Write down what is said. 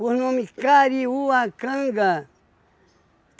por nome Kariuacanga.